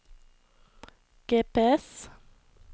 GPS